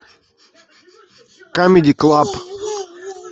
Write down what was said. камеди клаб